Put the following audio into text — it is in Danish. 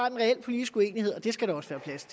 en reel politisk uenighed og det skal der også være plads